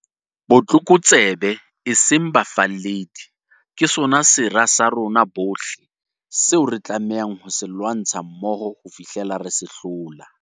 Botlokotsebe, e seng bafalledi, ke sona sera sa rona bohle, seo re tlamehang ho se lwantsha mmoho ho fihlela re se hlola.